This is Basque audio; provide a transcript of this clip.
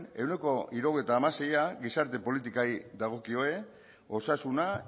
ehuneko hirurogeita hamaseia gizarte politikei dagokie osasuna